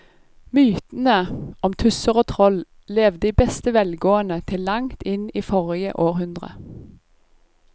Mytene om tusser og troll levde i beste velgående til langt inn i forrige århundre.